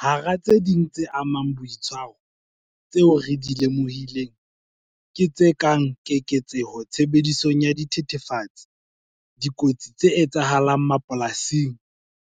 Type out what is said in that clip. Hara tse ding tse amang boitshwaro, tseo re di lemohileng ke tse kang keketseho tshebedisong ya dithethefatsi, dikotsi tse etsahalang mapolasing,